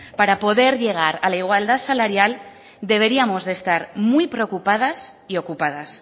para poder llegar a la igualdad salarial deberíamos de estar muy preocupadas y ocupadas